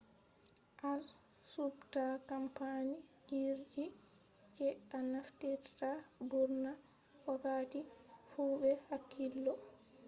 a subta kampany jirgi je a naftirta burna wakkati fu be hakkillo